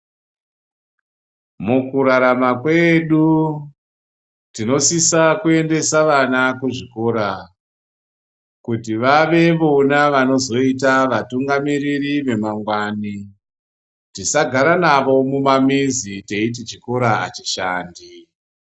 Muku rarama kwedu tino sisa kuendesa vana ku zvikora kuti vave vona vano zoita vatungamiriri ve mangwani tisa gara navo mu mamizi teiti chikora achi shandi.